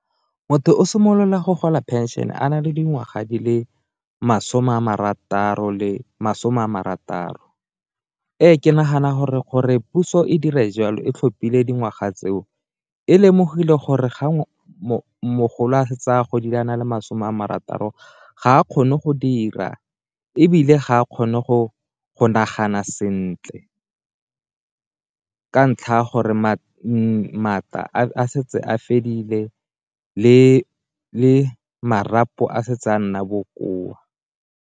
Motho o simolola go gola phenšene a na le dingwaga di le masome a marataro le masome a marataro, ee ke nagana gore gore puso e dire jalo e tlhopile dingwaga tseo e lemogile gore ga mogolo a setse a na le masome a marataro ga a kgone go dira, ebile ga a kgone go nagana sentle ka ntlha ya gore maatla a setse a fedile le marapo a setse a nna bokoa.